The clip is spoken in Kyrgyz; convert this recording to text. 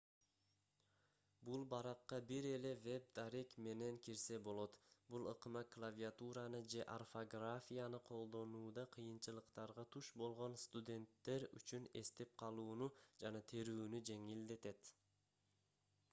бул баракка бир эле веб дарек менен кирсе болот бул ыкма клавиатураны же орфографияны колдонууда кыйынчылыктарга туш болгон студенттер үчүн эстеп калууну жана терүүнү жеңилдетет